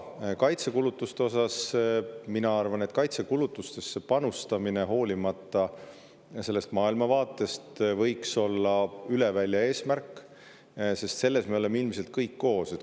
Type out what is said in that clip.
Aga kaitsekulutuste osas mina arvan, et kaitsekulutustesse panustamine, hoolimata maailmavaatest, võiks olla üleväljaeesmärk, sest selles me oleme ilmselt kõik koos.